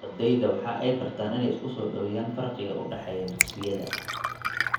Ardeyda waxay bartaan in ay isku soo dhaweeyaan farqiga u dhexeeya dugsiyada.